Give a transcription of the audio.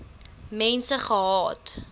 mense gehad